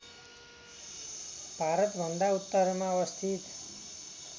भारतभन्दा उत्तरमा अवस्थित